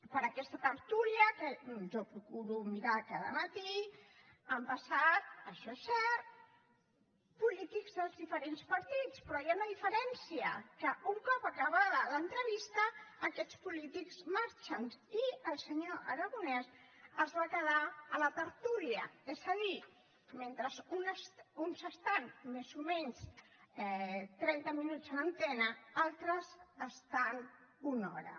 per aquesta tertúlia que jo procuro mirar cada matí han passat això és cert polítics dels diferents partits però hi ha una diferència que un cop acabada l’entrevista aquests polítics marxen i el senyor aragonès es va quedar a la tertúlia és a dir mentre uns estan més o menys trenta minuts en antena altres hi estan una hora